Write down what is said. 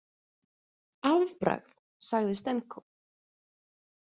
Afbragð, sagði Stenko.